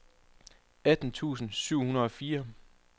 atten tusind syv hundrede og fire